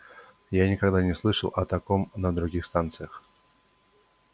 я никогда не слышал о таком на других станциях